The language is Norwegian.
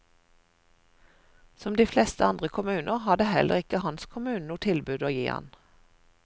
Som de fleste andre kommuner, hadde heller ikke hans kommune noe tilbud å gi ham.